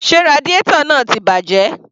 Sé radiator náà ti bàjẹ́?